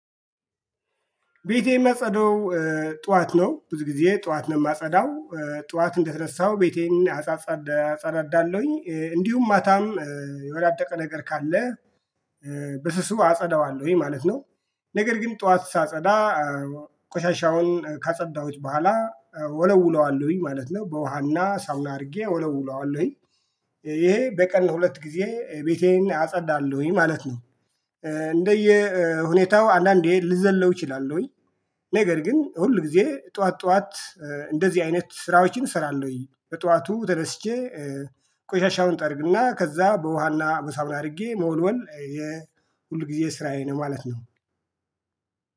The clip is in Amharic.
ቤቴም እማጸዳው ጠዋት ነው ብዙ ጊዜ ጠዋት ነው የማጸዳው ጠዋት እንደተነሳው ቤቴን አጸዳዳለሁኝ እንዲሁም ማታም የወዳደቀ ነገር ካለ በስሱ አጸዳዋለሁኝ ማለት ነው ነገር ግን ጠዋት ሳጸዳ ቆሻሻውን ካጸዳሁት በኋላ ወለውለዋለሁኝ ማለት ነው። በውሃና ሳሙና አድርጌ ወለውለዋለሁኝ ይሄ በቀን ሁለት ጊዜ ቤቴን አጸዳለሁኝ ማለት ነው እንደየ ሁኔታው አንዳንዴ ልዘለው እችላለሁኝ ነገር ግን ሁል ጊዜ ጠዋት ጠዋት እንደዚህ አይነት ስራዎችን እሰራለሁኝ በጠዋቱ ተነስቼ ቆሻሻውን እጠርግና ከዛ በውሃና በሳሙና አድርጌ መወልወል የሁል ጊዜ ስራዬ ነው ማለት ነው።